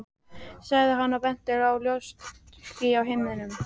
sagði hann og benti á ljóst ský á himninum.